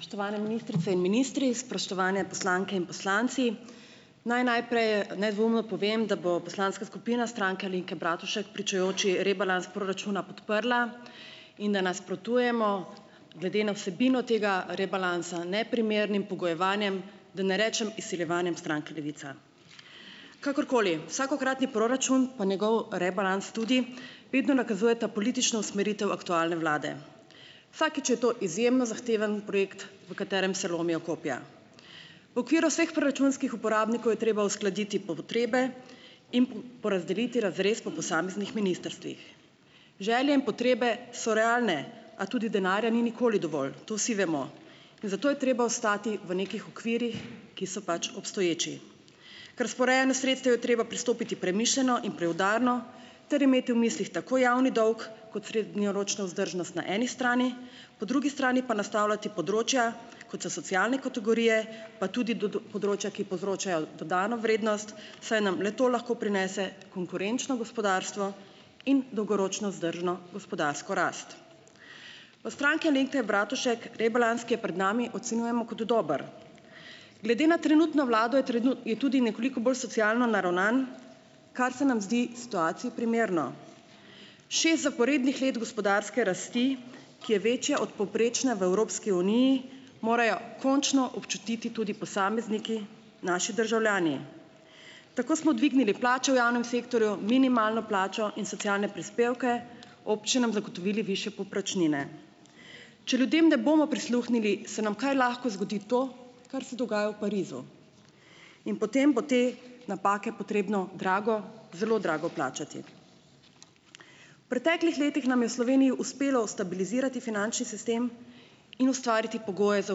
Spoštovane ministrice in ministri, spoštovane poslanke in poslanci. Naj najprej nedvomno povem, da bo poslanska skupina Stranke Alenke Bratušek pričujoči rebalans proračuna podprla in da nasprotujemo glede na vsebino tega rebalansa neprimernim pogojevanjem, da ne rečem izsiljevanjem stranke Levica. Kakorkoli, vsakokratni proračun, pa njegov rebalans tudi vedno nakazujeta politično usmeritev aktualne vlade. Vsakič je to izjemno zahteven projekt, v katerem se lomijo kopja. V okviru vseh proračunskih uporabnikov je treba uskladiti potrebe in porazdeliti razrez po posameznih ministrstvih. Želje in potrebe so realne, a tudi denarja ni nikoli dovolj, to vsi vemo. In zato je treba ostati v nekih okvirjih, ki so pač obstoječi. K razporejanju sredstev je treba pristopiti premišljeno in preudarno ter imeti v mislih tako javni dolg kot srednjeročno vzdržnost na eni strani, po drugi strani pa nastavljati področja, kot so socialne kategorije, pa tudi področja, ki povzročajo dodano vrednost, saj nam le to lahko prinese konkurenčno gospodarstvo in dolgoročno vzdržno gospodarsko rast. V Stranki Alenke Bratušek rebalans, ki je pred nami, ocenjujemo kot dober. Glede na trenutno vlado je je tudi nekoliko bolj socialno naravnan, kar se nam zdi situaciji primerno. Šest zaporednih let gospodarske rasti, ki je večja od povprečne v Evropski uniji, morajo končno občutiti tudi posamezniki, naši državljani. Tako smo dvignili plače v javnem sektorju, minimalno plačo in socialne prispevke, občinam zagotovili višje povprečnine. Če ljudem ne bomo prisluhnili, se nam kaj lahko zgodi to, kar se dogaja v Parizu, in potem bo te napake potrebno drago, zelo drago plačati. V preteklih letih nam je v Sloveniji uspelo stabilizirati finančni sistem in ustvariti pogoje za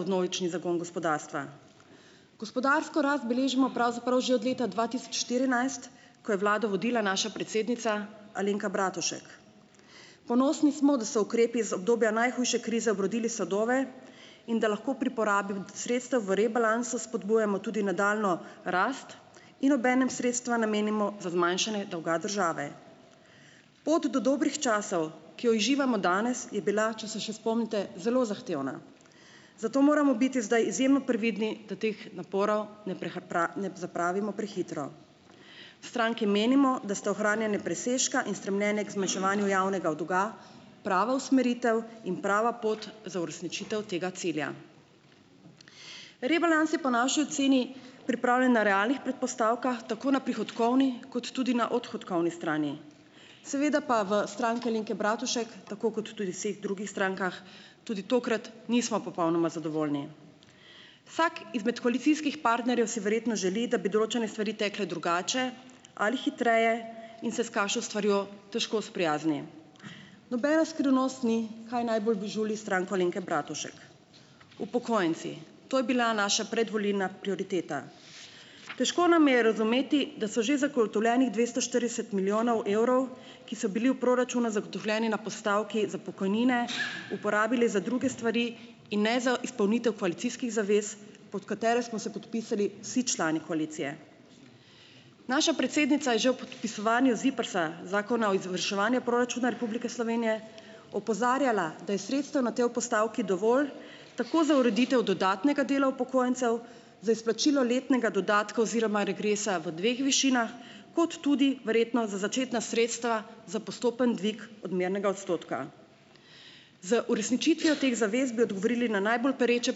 vnovični zagon gospodarstva. Gospodarsko rast beležimo pravzaprav že od leta dva tisoč štirinajst, ko je vlado vodila naša predsednica Alenka Bratušek. Ponosni smo, da so ukrepi iz obdobja najhujše krize obrodili sadove in da lahko pri porabi sredstev v rebalansu spodbujamo tudi nadaljnjo rast in obenem sredstva namenimo za zmanjšanje dolga države. Pot do dobrih časov, ki jo uživamo danes, je bila, če se še spomnite, zelo zahtevna. Zato moramo biti zdaj izjemno previdni, da teh naporov ne ne zapravimo prehitro. V stranki menimo, da sta ohranjanje presežka in stremljenje k zmanjševanju javnega dolga prava usmeritev in prava pot za uresničitev tega cilja. Rebalans je po naši oceni pripravljen na realnih predpostavkah, tako na prihodkovni kot tudi na odhodkovni strani. Seveda pa v Stranki Alenke Bratušek tako kot tudi v vseh drugih strankah tudi tokrat nismo popolnoma zadovoljni. Vsak izmed koalicijskih partnerjev si verjetno želi, da bi določene stvari takole drugače ali hitreje, in se s kakšno stvarjo težko sprijazni. Nobena skrivnost ni, kaj najbolj žuli Stranko Alenke Bratušek - upokojenci. To je bila naša predvolilna prioriteta. Težko nam je razumeti, da so že zagotovljenih dvesto štirideset milijonov evrov, ki so bili v proračunu zagotovljeni na postavki za pokojnine, uporabili za druge stvari in ne za izpolnitev koalicijskih zavez, pod katere smo se podpisali vsi člani koalicije. Naša predsednica je že ob podpisovanju ZIPRS-a, Zakona o izvrševanju proračuna Republike Slovenije opozarjala, da je sredstev na tej postavki dovolj, tako za ureditev dodatnega dela upokojencev, za izplačilo letnega dodatka oziroma regresa v dveh višinah, kot tudi verjetno za začetna sredstva za postopen dvig odmernega odstotka. Z uresničitvijo teh zavez bi odgovorili na najbolj pereče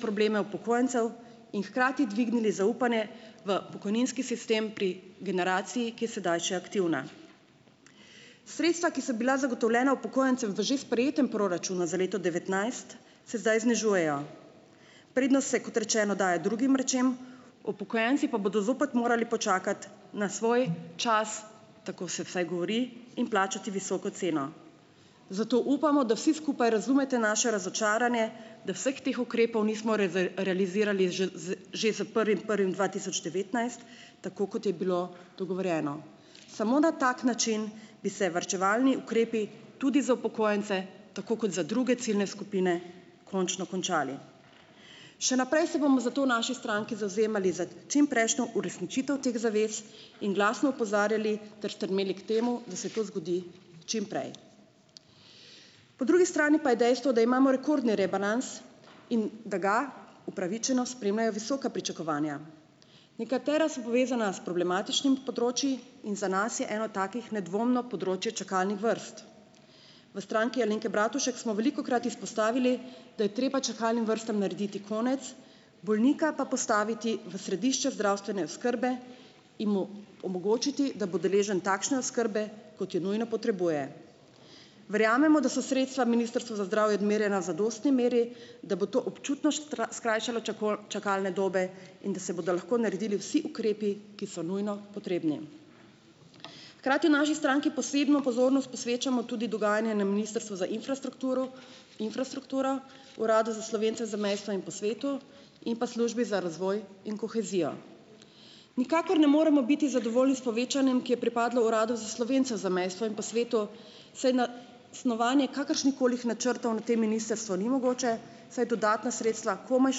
probleme upokojencev in hkrati dvignili zaupanje v pokojninski sistem pri generaciji, ki je sedaj še aktivna. Sredstva, ki so bila zagotovljena upokojencem v že sprejetem proračunu za leto devetnajst, se zdaj znižujejo. Prednost se, kot rečeno, daje drugim rečem, upokojenci pa bodo zopet morali počakati na svoj čas, tako se vsaj govori, in plačati visoko ceno. Zato upamo, da vsi skupaj razumete naše razočaranje, da vseh teh ukrepov nismo realizirali že zdaj že s prvim prvim dva tisoč devetnajst, tako kot je bilo dogovorjeno. Samo na tak način bi se varčevalni ukrepi tudi za upokojence, tako kot za druge ciljne skupine, končno končali. Še naprej se bomo zato v naši stranki zavzemali za čim prejšnjo uresničitev teh zavez in glasno opozarjali ter stremeli k temu, da se to zgodi čim prej. Po drugi strani pa je dejstvo, da imamo rekordni rebalans in da ga upravičeno spremljajo visoka pričakovanja. Nekatera so povezana s problematičnimi področji in za nas je eno takih nedvomno področje čakalnih vrst. v Stranki Alenke Bratušek smo velikokrat izpostavili, da je treba čakalnim vrstam narediti konec, bolnika pa postaviti v središče zdravstvene oskrbe in mu omogočiti, da bo deležen takšne oskrbe, kot jo nujno potrebuje. Verjamemo, da so sredstva Ministrstva za zdravje odmerjena v zadostni meri, da bo to občutno skrajšalo čakalne dobe in da se bodo lahko naredili vsi ukrepi, ki so nujno potrebni. Hkrati v naši stranki posebno pozornost posvečamo tudi dogajanju na Ministrstvu za infrastrukturu infrastrukturo. Uradu za Slovence v zamejstvu in po svetu in pa Službi za razvoj in kohezijo. Nikakor ne moremo biti zadovoljni s povečanjem, ki je pripadlo Uradu za Slovence v zamejstvu in po svetu, saj na snovanje kakršnihkoli načrtov na tem ministrstvu ni mogoče, saj dodatna sredstva komaj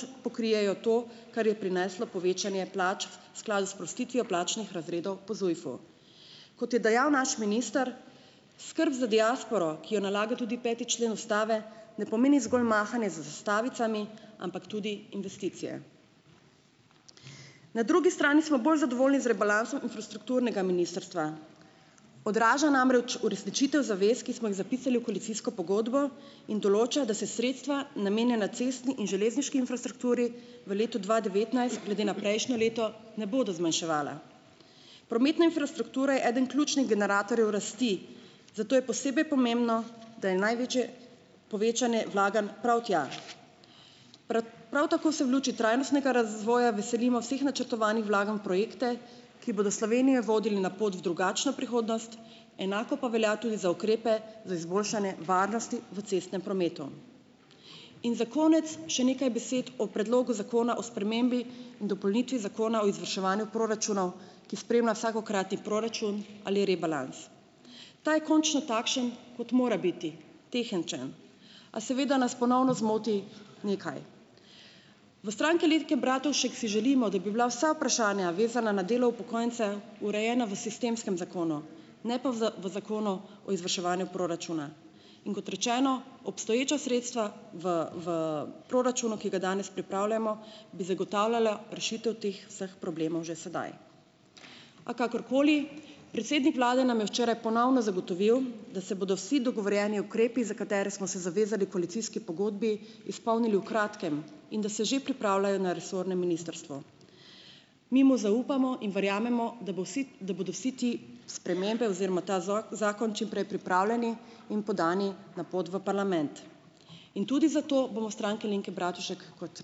še pokrijejo to, kar je prineslo povečanje plač v skladu s sprostitvijo plačnih razredov po ZUJF-u. Kot je dejal naš minister, skrb za diasporo, ki jo nalaga tudi peti člen ustave, ne pomeni zgolj mahanje z zastavicami, ampak tudi investicije. Na drugi strani smo bolj zadovoljni z rebalansom infrastrukturnega ministrstva. Odraža namreč uresničitev zavez, ki smo jih zapisali v koalicijsko pogodbo, in določa, da se sredstva, namenjena cestni in železniški infrastrukturi, v letu dva devetnajst glede na prejšnje leto ne bodo zmanjševala. Prometna infrastruktura je eden ključnih generatorjev rasti, zato je posebej pomembno, da je največje povečanje vlaganj prav tja. Prav tako se v luči trajnostnega razvoja veselimo vseh načrtovanih vlaganj v projekte, ki bodo Slovenijo vodili na pot v drugačno prihodnost, enako pa velja tudi za ukrepe za izboljšanje varnosti v cestnem prometu. In za konec še nekaj besed o Predlogu zakona o spremembi in dopolnitvi Zakona o izvrševanju proračunov, ki spremlja vsakokratni proračun ali rebalans. Ta je končno takšen, kot mora biti, tehničen, a seveda nas ponovno zmoti nekaj. V Stranki Alenke Bratušek si želimo, da bi bila vsa vprašanja vezana na delo upokojencev, urejena v sistemskem zakonu, ne pa v v Zakonu o izvrševanju proračunov, in kot rečeno, obstoječa sredstva v v proračunu, ki ga danes pripravljamo, bi zagotavljala rešitev teh vseh problemov že sedaj. A kakorkoli, predsednik vlade nam je včeraj ponovno zagotovil, da se bodo vsi dogovorjeni ukrepi, za katere smo se zavezali v koalicijski pogodbi, izpolnili v kratkem in da se že pripravljajo na resornem ministrstvu. Mi mu zaupamo in verjamemo, da bo vsi, da bodo vse te spremembe oziroma ta zakon čim prej pripravljeni in podani na pot v parlament. In tudi zato bomo v Stranki Alenke Bratušek, kot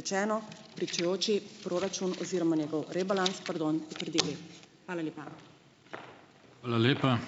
rečeno, pričujoči proračun oziroma njegov rebalans, pardon, potrdili. Hvala lepa.